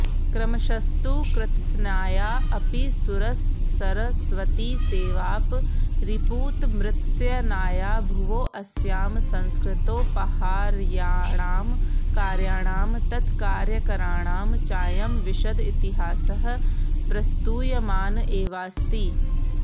क्रमशस्तु कृत्स्नाया अपि सुरसरस्वतीसेवापरिपूतमृत्स्नाया भुवोऽस्यां संस्कृतोपहार्याणां कार्याणां तत्कार्यकराणां चायं विशद इतिहासः प्रस्तूयमान एवास्ति